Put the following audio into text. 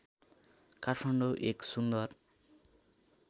काठमाडौँ एक सुन्दर